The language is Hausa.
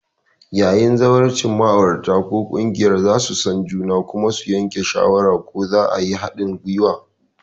Yayin zawarcin, ma'aurata ko ƙungiya za su san juna kuma su yanke shawara ko za a yi haɗin gwiwa.